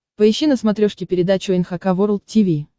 поищи на смотрешке передачу эн эйч кей волд ти ви